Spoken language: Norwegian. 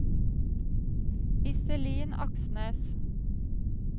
Iselin Aksnes